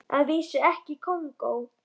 Að vísu ekki í Kongó.